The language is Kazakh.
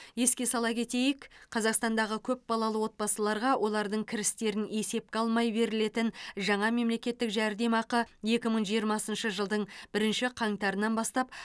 еске сала кетейік қазақстандағы көпбалалы отбасыларға олардың кірістерін есепке алмай берілетін жаңа мемлекеттік жәрдемақы екі мың жиырмасыншы жылдың бірінші қаңтарынан бастап